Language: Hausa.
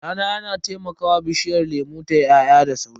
Rana yana taimakawa bishiyar lemu tayi ya'ya da sauri.